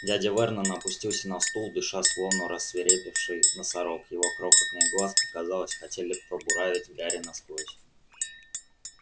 дядя вернон опустился на стул дыша словно рассвирепевший носорог его крохотные глазки казалось хотели пробуравить гарри насквозь